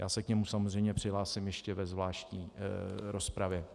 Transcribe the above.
Já se k němu samozřejmě přihlásím ještě ve zvláštní rozpravě.